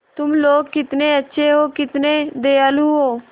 तुम लोग कितने अच्छे हो कितने दयालु हो